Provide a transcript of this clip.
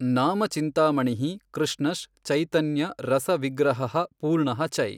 ನಾಮ ಚಿಂತಾಮಣಿಹಿ ಕೃಷ್ಣಶ್ ಚೈತನ್ಯ ರಸ ವಿಗ್ರಹಃ ಪೂರ್ಣಃ ಚೈ.